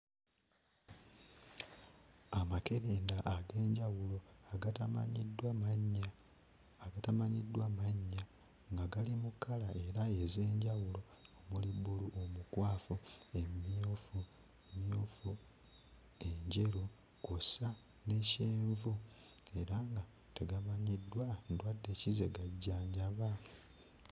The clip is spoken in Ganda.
Amakerenda ag'enjawulo agatamanyiddwa mannya. Agatamanyiddwa mannya. Nga gali mu kkala era ez'enjawulo omuli bbulu omukwafu, emmyufu, enjeru, kw'ossa ne kyenvu era nga tegamanyiddwa ndwadde ki ze gajjanjaba.